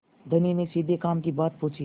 धनी ने सीधे काम की बात पूछी